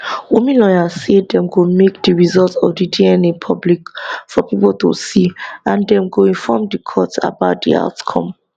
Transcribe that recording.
wunmi lawyer say dem go make di result of di dna public for pipo to see and dem go inform di court about di outcome